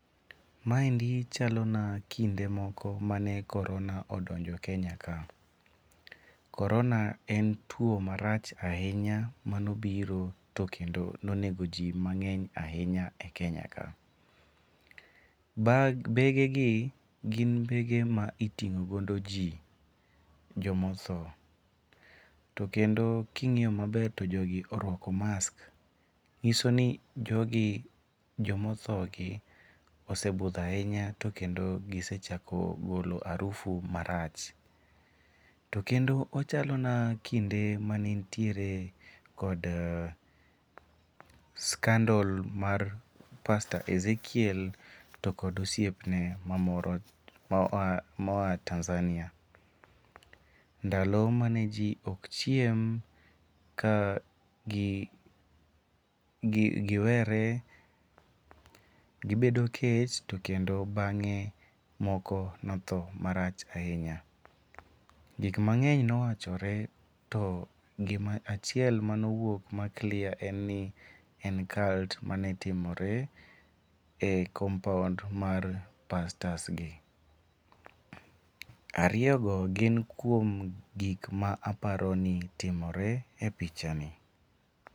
Maendi chalona kinde moko mane korona odonjo e Kenya ka. Korona en tuo marach ahinya mane obiro to kendo ne onego ji mang'eny ahinya e Kenya ka. Bag begegi gin bege ma iting'o godo ji, joma othoto kendo ka ing'iyo maber to jogi oruako mask nyiso ni jogi joma othogi osebudho ahinya to kendo gise chako golo arufu marach. To kendo ochalona kinde mane nitiere kod scandle mar Pastor Ezekiel to kod osiepne moa Tanzania ndalo mane ji ok chiem ka giwere gibedo kech to kendo bang'e moko ne otho marach ahinya. Gik mang'eny nowachore to gimoro achiel mane owuok ma clear en ni en cult mane timore e compound mar pastors gi. Ariyo go gin kuom gik ma aparo ni timore e pichani.